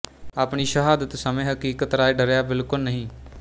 ਆਪਣੀ ਸ਼ਹਾਦਤ ਸਮੇਂ ਹਕੀਕਤ ਰਾਇ ਡਰਿਆ ਬਿਲਕੁਲ ਨਹੀਂ